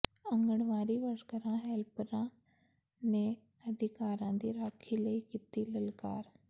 ਆਂਗਣਵਾੜੀ ਵਰਕਰਾਂ ਹੈਲਪਰਾਂ ਨੇ ਅਧਿਕਾਰਾਂ ਦੀ ਰਾਖੀ ਲਈ ਕੀਤੀ ਲਲਕਾਰ